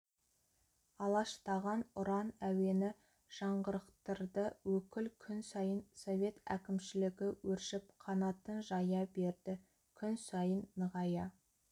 алаштаған ұран әуені жаңғырықтырды өкіл күн сайын совет әкімшілігі өршіп қанатын жая берді күн сайын нығая